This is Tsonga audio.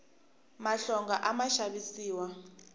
mahlonga a ma xavisiwa